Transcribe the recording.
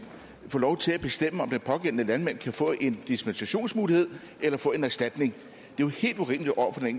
få lov til at bestemme om den pågældende landmand kan få en dispensationsmulighed eller få en erstatning